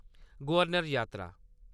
गवर्नर-जात्तरा